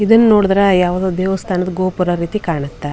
ಇದನ್ನ ನೋಡಿದ್ರೆ ಯಾವುದೊ ದೇವಸ್ಥಾನದ ಗೋಪುರ ರೀತಿ ಕಾಣುತೇ .